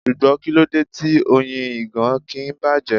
Ṣùgbọ́n kíló de tí Oyin ìgàn kì ń bàjẹ́?